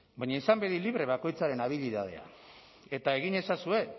baina izan bedi libre bakoitzaren abilidadea eta egin ezazue